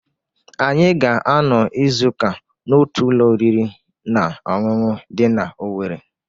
Anyị ga-anọ izu ụka n'otu ụlọ oriri na ọṅụṅụ dị na Owere.